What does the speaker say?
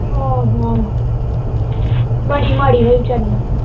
ਹਮ ਹੋਰ ਬੜੀ ਮਾੜੀ ਹੋਈ ਵਿਚਾਰੀ ਨਾਲ